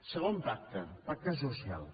segon pacte pacte social